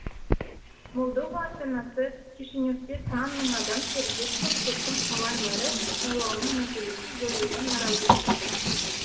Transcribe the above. молдова астанасы кишиневте сан мың адам шеруге шығып соттың қала мэрі сайлауының нәтижесін жоюына наразылық білдірді